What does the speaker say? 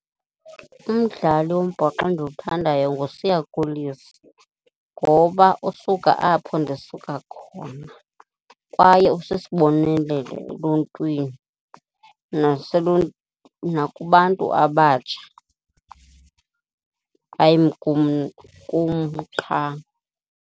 Umdlali wombhoxo endiwuthandayo nguSiya Kolisi ngoba usuka apho ndisuka khona kwaye usisibonelelo eluntwini nakubantu abatsha hayi kum, kum qha.